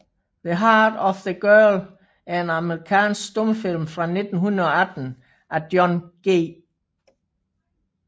The Heart of a Girl er en amerikansk stumfilm fra 1918 af John G